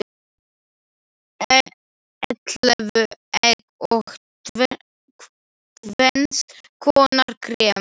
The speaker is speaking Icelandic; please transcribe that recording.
Ellefu egg og tvenns konar krem.